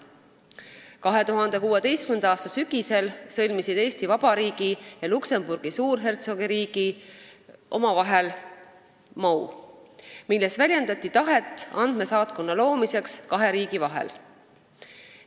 2016. aasta sügisel sõlmisid Eesti Vabariik ja Luksemburgi Suurhertsogiriik omavahel MoU, milles väljendati tahet andmesaatkonna loomiseks kahe riigi vahel.